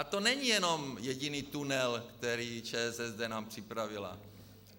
A to není jenom jediný tunel, který nám ČSSD připravila.